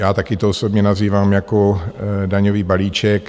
Já také to osobně nazývám jako daňový balíček.